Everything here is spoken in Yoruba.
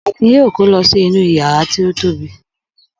Akin yóò kó lọ sí inú ìyàrá tó tóbi!